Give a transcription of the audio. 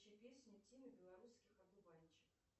включи песню тимы белорусских одуванчик